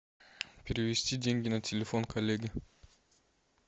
перевести деньги на телефон коллеги